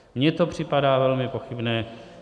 Mně to připadá velmi pochybné.